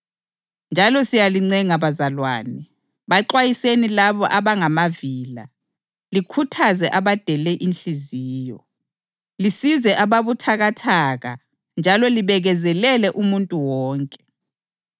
Qaphelani kungabikhona ophindisela okubi ngokubi kodwa lihlale lizama ukwenzelana okuhle kanye lakwabanye abantu.